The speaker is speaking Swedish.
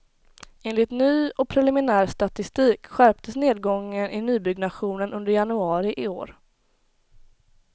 Enligt ny och preliminär statistik skärptes nedgången i nybyggnationen under januari i år.